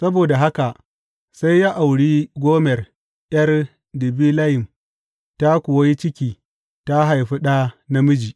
Saboda haka sai ya auri Gomer ’yar Dibilayim, ta kuwa yi ciki ta haifi ɗa namiji.